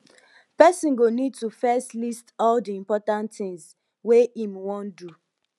person go need to first list all di important tins wey im wan do